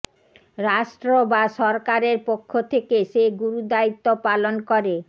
রাষ্ট্র বা সরকারের পক্ষ থেকে সে গুরুদায়িত্ব পালন করে